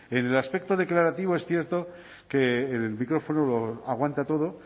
en el aspecto declarativo es cierto que el micrófono lo aguanta todo